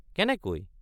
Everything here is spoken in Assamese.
—কেনেকৈ?